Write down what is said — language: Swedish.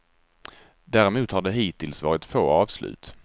Däremot har det hittills varit få avslut.